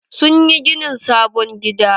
Sun yi ginin sabon gida.